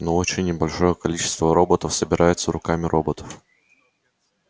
но очень небольшое количество роботов собирается руками роботов